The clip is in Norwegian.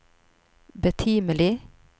betimelig